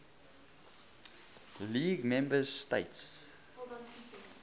league member states